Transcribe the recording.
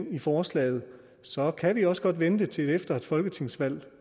i forslaget så kan vi også godt vente til efter et folketingsvalg